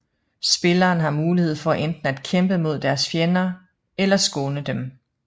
Spilleren har mulighed for enten at kæmpe mod deres fjender elle skåne dem